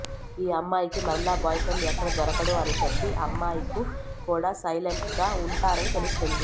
ఆ అమ్మాయికి మరలా బాయ్ ఫ్రెండ్ ఎక్కడ దొరకడో అని చెప్పి అమ్మాయికు కూడా సైలెంట్ గా ఉంటారని తెలుస్తున్నది